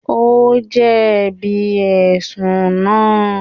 Ó jẹ̀bi Ẹ̀sùn náà